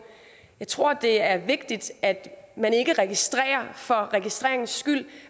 jeg tror det er vigtigt at man ikke registrerer for registreringens skyld